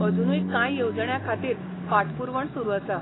अजुनूय कांय येवजण्यां खातीर फाटपुरवण सुरू आसा.